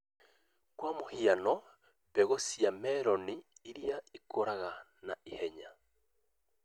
Kwa mũhiano, mbegũ cia meroni irĩa cikũraga naihenya